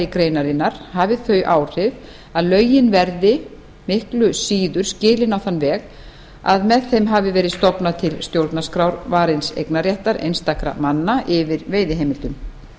greinarinnar hafi þau áhrif að lögin verði miklu síður skilin á þann veg að með þeim hafi verið stofnað til stjórnarskrárvarins eignarréttar einstakra manna yfir veiðiheimildum